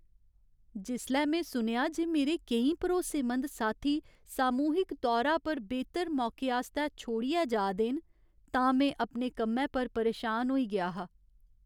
जिसलै में सुनेआ जे मेरे केईं भरोसेमंद साथी सामूहिक तौरा पर बेह्तर मौके आस्तै छोड़ियै जा दे न, तां में अपने कम्मै पर परेशान होई गेआ हा।